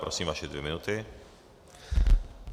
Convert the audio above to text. Prosím, vaše dvě minuty.